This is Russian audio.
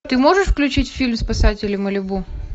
ты можешь включить фильм спасатели малибу